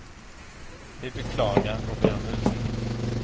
Vi beklagar och ber om ursäkt.